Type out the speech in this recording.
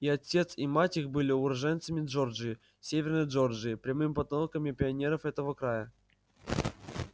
и отец и мать их были уроженцами джорджии северной джорджии прямыми потомками пионеров этого края